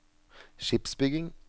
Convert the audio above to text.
skipsbygging